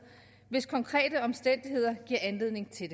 hvis konkrete omstændigheder giver anledning til